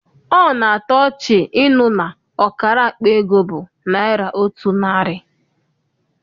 Ọ na-atọ ọchị ịnụ na ọkara akpa ego bụ naịra otu narị.